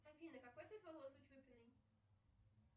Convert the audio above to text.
афина какой цвет волос у чупиной